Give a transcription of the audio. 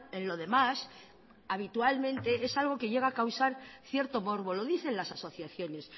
en lo demás habitualmente es algo que llega a causar cierto morbo lo dicen las asociaciones